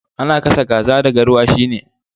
Ana gasa kaza da garwashi ne